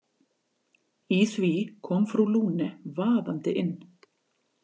Í því kom frú Lune vaðandi inn.